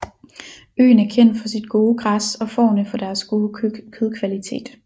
Øen er kendt for sit gode græs og fårene for deres gode kødkvalitet